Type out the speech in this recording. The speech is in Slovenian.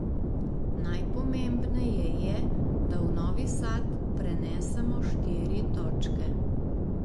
Najpomembneje je, da v Novi Sad prenesemo štiri točke.